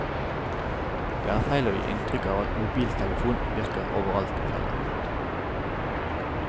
Det er feil å gi inntrykk av at mobiltelefonen virker overalt i fjellet.